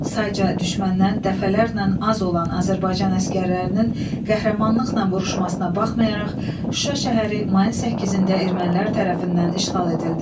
Sayca düşməndən dəfələrlə az olan Azərbaycan əsgərlərinin qəhrəmanlıqla vuruşmasına baxmayaraq, Şuşa şəhəri mayın 8-də ermənilər tərəfindən işğal edildi.